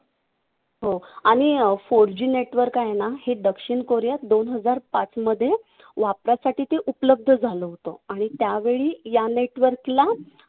हो. आणि four G network आहे ना हे दक्षिण कोरियात दोन हजार पाचमध्ये वापरासाठी ते उपलब्ध झालं होतं. आणि त्यावेळी या network ला